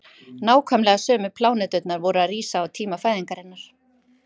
nákvæmlega sömu pláneturnar voru að rísa á tíma fæðingarinnar